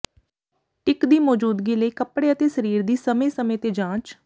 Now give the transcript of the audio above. ਟਿੱਕ ਦੀ ਮੌਜੂਦਗੀ ਲਈ ਕੱਪੜੇ ਅਤੇ ਸਰੀਰ ਦੀ ਸਮੇਂ ਸਮੇਂ ਤੇ ਜਾਂਚ